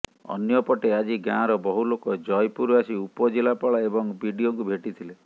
ଅନ୍ୟପଟେ ଆଜି ଗାଁର ବହୁ ଲୋକ ଜୟପୁର ଆସି ଉପଜିଲ୍ଲାପାଳ ଏବଂ ବିଡିଓଙ୍କୁ ଭେଟିଥିଲେ